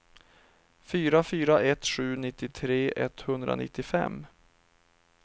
fyra fyra ett sju nittiotre etthundranittiofem